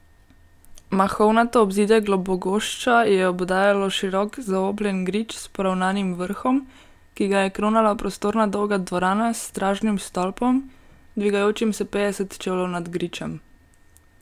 Mahovnato obzidje Globogošča je obdajalo širok, zaobljen grič s poravnanim vrhom, ki ga je kronala prostorna dolga dvorana s stražnim stolpom, dvigajočim se petdeset čevljev nad gričem.